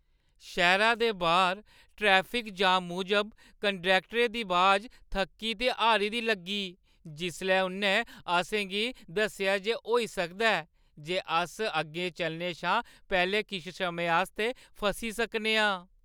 शैह्‌रै दे बाह्‌र ट्रैफिक जाम मूजब कंडक्टरै दी अबाज थक्की ते हारी दी लग्गी जिसलै उʼन्नै असें गी दस्सेआ जे होई सकदा ऐ जे अस अग्गें चलने शा पैह्‌लें किश समें आस्तै फसी सकने आं।